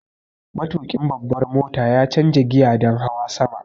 Matuƙin babbar mota ya canza giya don hawa tudu.